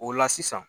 O la sisan